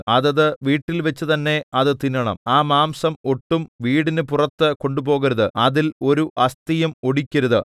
അതത് വീട്ടിൽവെച്ച് തന്നെ അത് തിന്നണം ആ മാംസം ഒട്ടും വീടിന് പുറത്ത് കൊണ്ടുപോകരുത് അതിൽ ഒരു അസ്ഥിയും ഒടിക്കരുത്